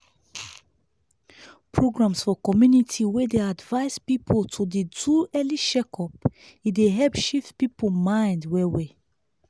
programs for community wey dey advise people to do early check-up e dey help shift people mind well well.